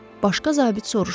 Başqa zabit soruşdu.